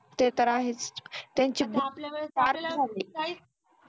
ते तर आहेच त्यांची बुद्धी sharp झाली